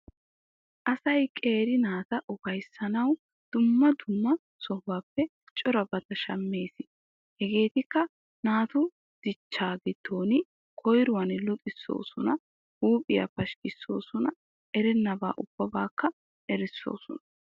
Asay qeeri naata ufayssanawu dumma dumma sohuwappe corabata shammees. Hegeetikka naatu dichchaa giddon koyruwan luxissoosona, huuphiya pashkkissoosona, erennabaa ubbaakka erissoosona.